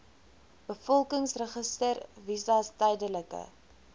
bevolkingsregister visas tydelike